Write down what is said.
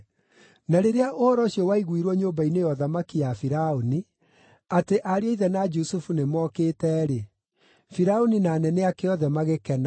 Na rĩrĩa ũhoro ũcio waiguirwo nyũmba-inĩ ya ũthamaki ya Firaũni, atĩ ariũ a ithe na Jusufu nĩmokĩte-rĩ, Firaũni na anene ake othe magĩkena.